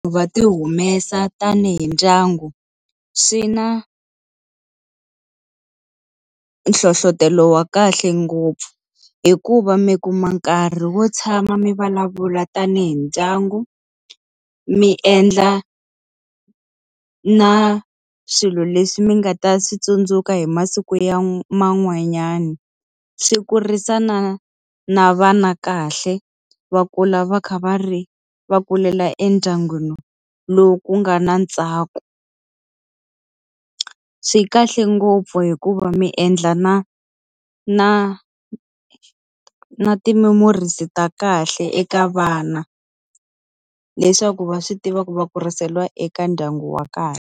Va ti humesa tanihi ndyangu, swi na hlohletelo wa kahle ngopfu. Hikuva mi ku ma nkarhi wo tshama mi vulavula tanihi ndyangu, mi endla na swilo leswi mi nga ta swi tsundzuka hi masiku ya man'wanyana. Swi kurisa na na vana kahle, va kula va kha va ri va kulela endyangwini lowu ku nga na ntsako. Swi kahle ngopfu hikuva mi endla na na na ti-memories-i ta kahle eka vana. Leswaku va swi tiva ku va kuriseriwa eka ndyangu wa kahle.